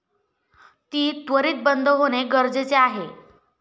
ती त्वरित बंद होणे गरजेचे आहे.